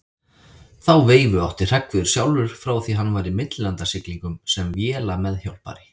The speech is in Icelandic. Þá veifu átti Hreggviður sjálfur frá því hann var í millilandasiglingum sem vélameðhjálpari.